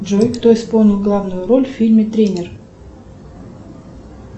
джой кто исполнил главную роль в фильме тренер